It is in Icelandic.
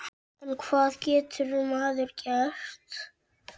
En hvað getur maður gert?